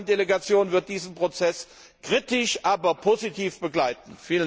Die ASEAN Delegation wird diesen Prozess kritisch, aber positiv begleiten.